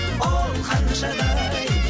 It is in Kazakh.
оу ханшадай